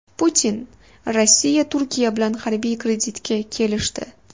Putin: Rossiya Turkiya bilan harbiy kreditga kelishdi.